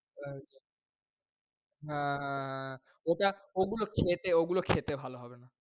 আহ ওটা ওগুলো খেতে, ওগুলো খেতে ভালো হবে না।